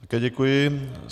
Také děkuji.